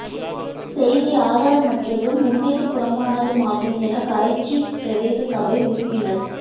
செய்தி ஆதாரமற்றதும் உண்மைக்கு புறம்பானதுமாகும் என கரைச்சி பிரதேச சபை உறுப்பினர்